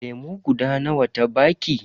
Lemu guda nawa ta baki?